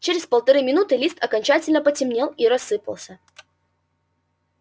через полторы минуты лист окончательно потемнел и рассыпался